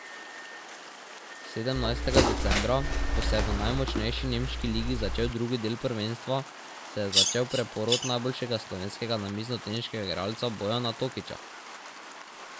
Sedemnajstega decembra, ko se je v najmočnejši nemški ligi začel drugi del prvenstva, se je začel preporod najboljšega slovenskega namiznoteniškega igralca Bojana Tokiča.